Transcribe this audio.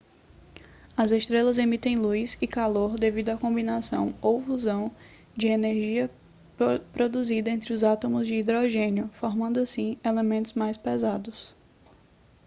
as estrelas emitem luz e calor devido à combinação ou fusão de energia produzida entre os átomos de hidrogênio formando assim elementos mais pesados